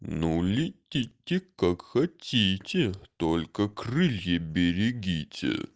ну летите как хотите только крылья берегите